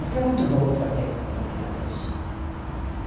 Você é muito novo para ter acompanhado isso.